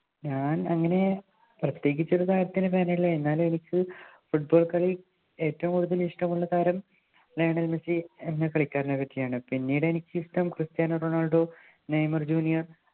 ഞാനങ്ങനെ പ്രത്യേകിച്ച് ഒരു താരത്തിൻ്റെ അല്ല എന്നാലും എനിക്ക Football കളിയിൽ ഏറ്റവും കൂടുതൽ ഇഷ്ടമുള്ള താരം താരം ലിയോണൽ മെസ്സി എന്ന് കളിക്കാരനെ പറ്റിയാണ് പിന്നീട് എനിക്കിഷ്ടം ക്രിസ്റ്റ്യാനോ റൊണാൾഡോ നെയ്മർ ജൂനിയർ